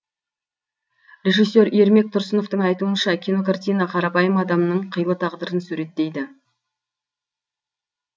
режиссер ермек тұрсыновтың айтуынша кинокартина қарапайым адамның қилы тағдырын суреттейді